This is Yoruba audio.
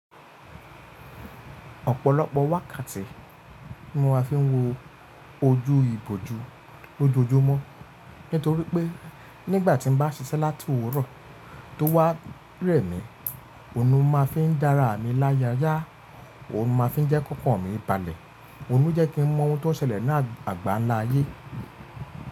Ọ̀pọ̀lọpọ̀ wákàtí ni mo máa fi ń wo ojú ìbòjú lójoojúmọ́. Nítorí pé nígbàtí n bá ṣiṣẹ́ láti òwúrọ̀ tó wá rẹ̀ mi, òun máa fi ń dára mi láyàyà, òun máa fi ń jẹ́ kókó mi ìbalẹ̀, òun ń jẹ́ kí n mọ̀ ohun tó ṣẹlẹ̀ ní àgbáńlá ayé.